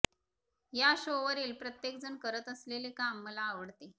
या शो वरील प्रत्येकजण करत असलेले काम मला आवडते